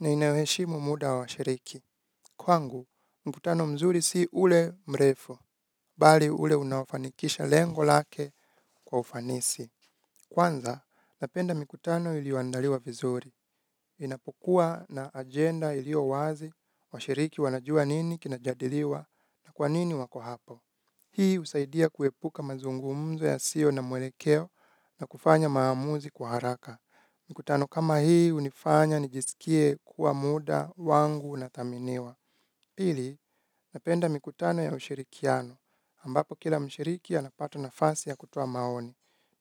na inayoheshimu muda wa washiriki. Kwangu, mkutano mzuri si ule mrefu, bali ule unaofanikisha lengo lake kwa ufanisi. Kwanza, napenda mikutano ilioandaliwa vizuri, inapokuwa na agenda iliowazi washiriki wanajua nini kinajadiliwa na kwanini wako hapo. Hii husaidia kuepuka mazungumzo yasio na mwelekeo na kufanya maamuzi kwa haraka. Mikutano kama hii unifanya nijisikie kuwa muda wangu unathaminiwa. Pili, napenda mikutano ya ushirikiano. Ambapo kila mshiriki anapata nafasi ya kutoa maoni.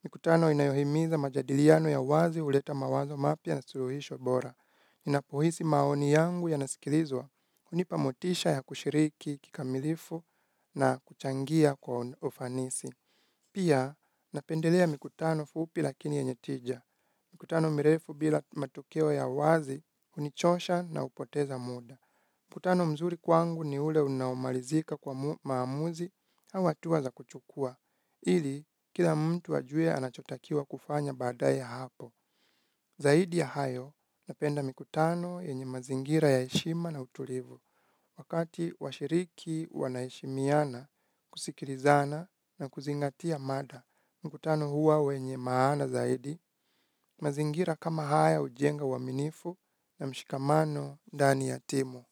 Mikutano inayohimiza majadiliano ya uwazi uleta mawazo mapya na suluhisho bora. Ninapohisi maoni yangu yanasikilizwa hunipa motisha ya kushiriki kikamilifu na kuchangia kwa ufanisi. Pia napendelea mikutano fupi lakini yenye tija. Mikutano mirefu bila matokeo ya uwazi hunichosha na upoteza muda. Mkutano mzuri kwangu ni ule unaomalizika kwa maamuzi, hau hatuwa za kuchukua, ili kila mtu ajue anachotakiwa kufanya baada ya hapo. Zaidi ya hayo, napenda mikutano yenye mazingira ya heshima na utulivu. Wakati washiriki wanaheshimiana, kusikilizana na kuzingatia mada, mkutano huwa wenye maana zaidi, mazingira kama haya ujenga uaminifu na mshikamano ndani ya timu.